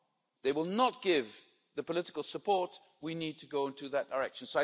They will not give the political support we need to go in that direction.